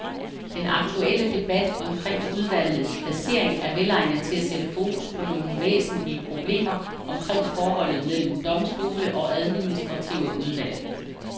Den aktuelle debat omkring udvalgets placering er velegnet til at sætte fokus på nogle væsentlige problemer omkring forholdet mellem domstole og administrative udvalg.